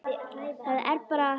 Það er bara.